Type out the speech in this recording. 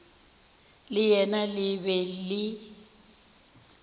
le yena le be le